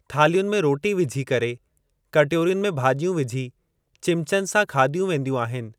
थालियुनि में रोटी विझी करे कटोरियुनि में भाॼियूं विझी चिमचनि सां खादियूं वेंदियूं आहिनि।